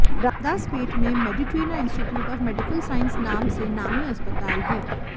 रामदासपेठ में Meditrina institute of medical science नाम से नामी अस्पताल है